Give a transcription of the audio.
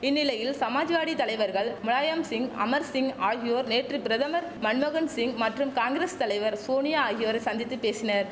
இந்நிலையில் சமாஜ்வாடி தலைவர்கள் முலாயம்சிங் அமர்சிங் ஆகியோர் நேற்று பிரதமர் மன்மோகன்சிங் மற்றும் காங்கிரஸ் தலைவர் சோனியா ஆகியோரை சந்தித்து பேசினர்